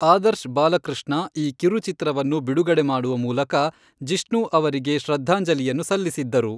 ಆದರ್ಶ್ ಬಾಲಕೃಷ್ಣ ಈ ಕಿರುಚಿತ್ರವನ್ನು ಬಿಡುಗಡೆ ಮಾಡುವ ಮೂಲಕ ಜಿಷ್ಣು ಅವರಿಗೆ ಶ್ರದ್ಧಾಂಜಲಿಯನ್ನು ಸಲ್ಲಿಸಿದ್ದರು.